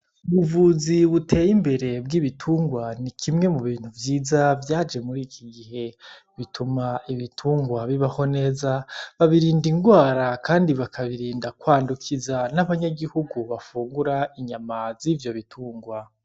Ubuvuzi buteye imbere bw'ibitungwa ni kimwe mu bintu vyiza vyaje muri iki gihe. Bituma ibitungwa bibaho neza, babirinda ingwara kandi bakabirinda kwandukiza n'abanyagihugu bafungura inyama z'ivyo bitungwa.